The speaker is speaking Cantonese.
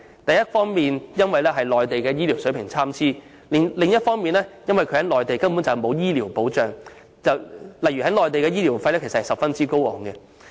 這一方面是因為內地醫療水平參差，但另一方面亦因為他們在內地根本沒有醫療保障，若要在內地就醫，費用將十分高昂。